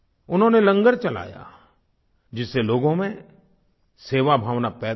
उन्होंने लंगर चलाया जिससे लोगों में सेवाभावना पैदा हुई